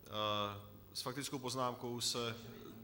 S faktickou poznámkou se...